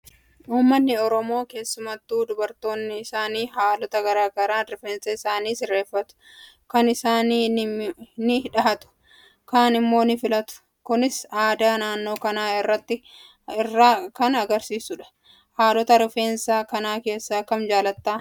Uummanni Oromoo, keessumattuu dubartoonni isaanii haalota garaa garaan rifeensa isaanii sirreeffatu. Kaan isaanii ni dhahatu, kan immoo ni filatu. Kunis aadaa naannoo kanaa kan argisiisudha. Haalota rifeensa kana keessaa kam jaalatta?